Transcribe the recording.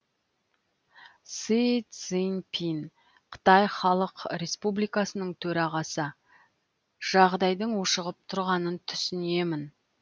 си цзиньпин қытай халық республикасының төрағасы жағдайдың ушығып тұрғанын түсінемін